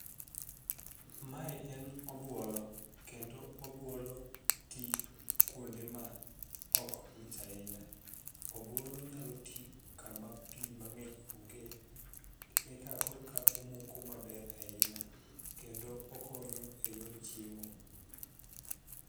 mae en obuolo kendo obuolo ti kuonde ma ok ng'ich ahinya ,obuolo nyalo ti kama pi mang'eny ong'e eka koro ka omoko maber ahinya kendo nokonyo e yor chiemo